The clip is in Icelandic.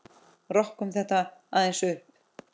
Rokkum þetta aðeins upp!